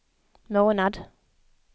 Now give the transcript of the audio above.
månad